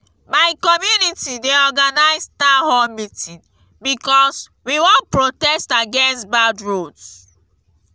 my community dey organize town hall meeting because we wan protest against bad roads.